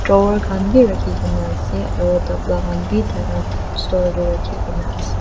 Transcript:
khan bhi rakhikena ase aro tabla khan bhi thaka store dae rakhina ase.